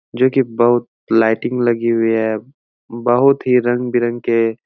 जो कि बोहत लाईटिंग लगी हुई है। बोहत ही रंग बिरंग के --